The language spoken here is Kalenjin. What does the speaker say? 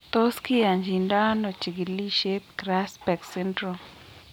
Tos kiyachindo ano chikilisiet Grasbeck syndrome?